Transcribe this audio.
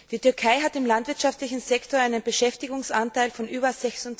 Die Türkei hat im landwirtschaftlichen Sektor einen Beschäftigungsanteil von über